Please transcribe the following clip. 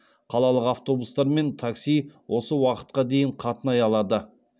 қалалық автобустар мен такси осы уақытқа дейін қатынай алады